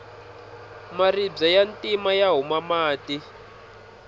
maribye ya ntima ya huma mati